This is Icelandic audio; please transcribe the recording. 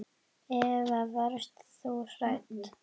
Eva: Varst þú hrædd?